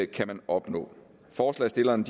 kan man opnå forslagsstillerne